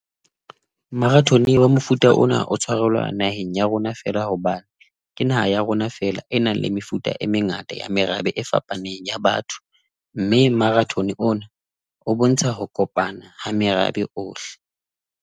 Marathon wa mofuta ona o tshwarelwa naheng ya rona feela hobane ke naha ya rona feela e nang le mefuta e mengata ya merabe e fapaneng ya batho, mme marathon ona o bontsha ho kopana ha merabe ohle.